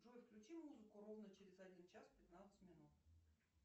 джой включи музыку ровно через один час пятнадцать минут